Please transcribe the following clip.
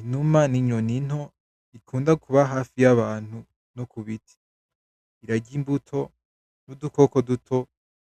Inuma n’inyoni nto ikunda kuba hafi y’abantu no kubiti. Irarya imbuto n’udukoko duto